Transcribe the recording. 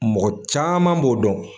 Mɔgɔ caman b'o dɔn.